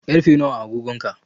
Karfe nawa a agogon ka?